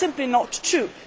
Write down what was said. That is simply not true.